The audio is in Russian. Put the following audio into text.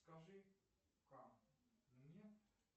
скажи ка мне